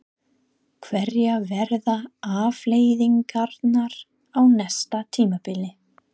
Hverjar verða afleiðingarnar á næsta tímabili?